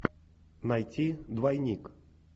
найти двойник